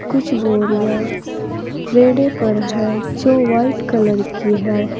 कुछ बोरिया रेडे पर है जो वाइट कलर की है।